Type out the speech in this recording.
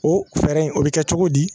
O fɛɛrɛ in o bɛ kɛ cogo di